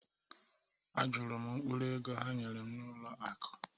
Ajụrụ m mkpụrụ ego ha nyere m n’ụlọ akụ̀